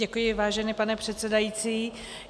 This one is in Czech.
Děkuji, vážený pane předsedající.